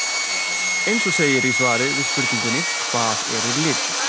Eins og segir í svari við spurningunni Hvað eru litir?